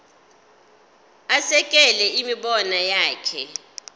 asekele imibono yakhe